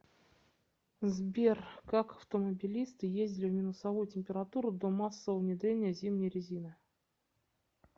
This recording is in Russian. сбер как автомобилисты ездили в минусовую температуру до массового внедрения зимней резины